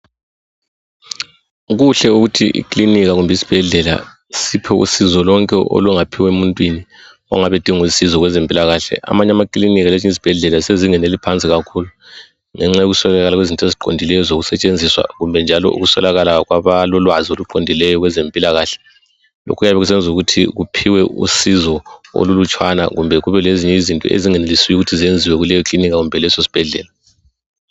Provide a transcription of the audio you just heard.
Kuhle ukuthi ikilinika kumbe isibhedlela siphe usizo lonke olungaphiwe muntwini ongabe edinga usizo kwezempilakahle. Amanye amakilinika lezinye izibhedlela zisezingeni eliphansi kakhulu ngenxa yokuswelakala kwezinto eziqondileyo ezokusetshenziswa kumbe njalo ukuswelakala kwabalolwazi oluqondileyo kwabezempilakahle kuyabe kusenza ukuthi kuphiwe usizo olulutshwana kumbe kube lezinye izinto ezingenelisiyo ukuthi zenziwe kuleyo kilinika kumbe kuleso sibhedlela.